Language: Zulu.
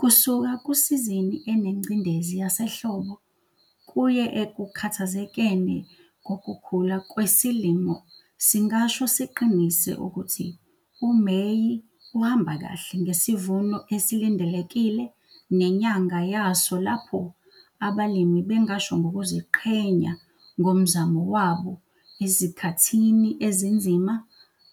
Kusuka kusizini enengcindezi yasehlobo, kuye ekukhathazekeni kokukhula kwesilimo singasho siqinise ukuthi uMeyi uhamba kahle ngesivuno esilindelekile nenyanga yaso lapho abalimi bengasho ngokuziqhenya ngomzamo wabo ezikhathini ezinzima